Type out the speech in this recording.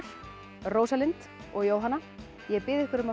Rósalind og Jóhanna ég bið ykkur um að